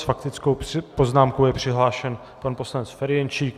S faktickou poznámkou je přihlášen pan poslanec Ferjenčík.